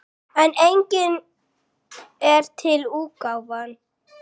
En einnig er til útgáfan